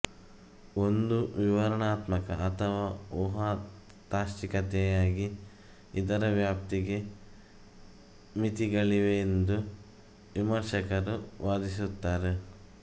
ಒಂದು ವಿವರಣಾತ್ಮಕ ಅಥವಾ ಊಹಾ ತಾತ್ಚಿಕತೆಯಾಗಿ ಇದರ ವ್ಯಾಪ್ತಿಗೆ ಮಿತಿಗಳಿವೆಯೆಂದು ವಿಮರ್ಶಕರು ವಾದಿಸುತ್ತಾರೆ